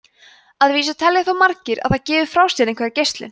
að vísu telja þó margir að það gefi frá sér einhverja geislun